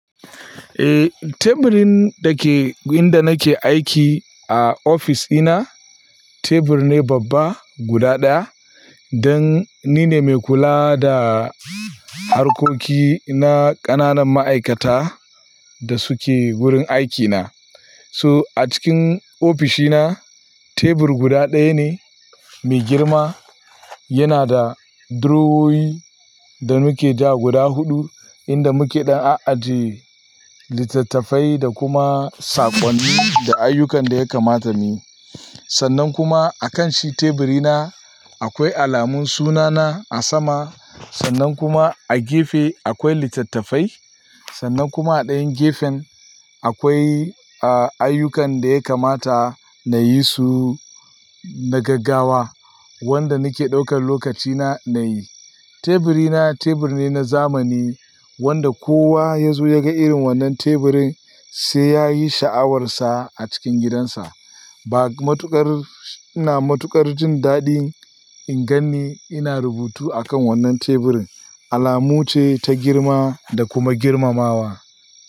Eh, teburin da ke gurin da nake aiki a ofis dina, tebur ne babba guda ɗaya. Dan nine mai kula da harkoki na ƙananan ma'aikata da suke wurin aikina. So a cikin ofishina tebur guda ɗaya ne mai girma. Yana da durowoyi da muke ja guda huɗu inda muke ɗan ajiye littattafai da kuma saƙonni da ayyukan da ya kamata muyi. Sannan kuma a kanshi teburina akwai alamun sunana a sama. Sannan kuma a gefe akwai littattafai. Sannan kuma a ɗayan gefen akwai, ayyukan da ya kamata na yi su na gaggawa wanda nake ɗaukan lokacina na yi. Teburina tebur ne na zamani wanda kowa ya zo ya ga irin wannan teburin sai ya yi sha'awarsa a cikin gidansa. Ba matuƙar, ina matuƙar jin daɗi in ganni ina rubutu a kan wannan teburin. Alamu ce ta girma da kuma girmamawa.